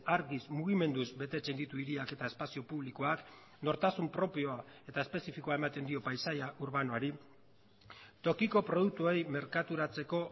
argiz mugimenduz betetzen ditu hiriak eta espazio publikoak nortasun propioa eta espezifikoa ematen dio paisaia urbanoari tokiko produktuei merkaturatzeko